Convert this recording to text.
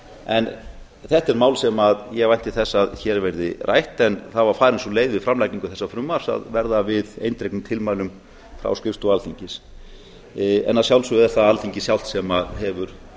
en þetta er mál sem ég vænti þess að hér verði rætt en það var farin sú leið við framlagningu þessa frumvarps að verða við eindregnum tilmælum frá skrifstofu alþingis en að sjálfsögðu er það alþingi sjálft sem hefur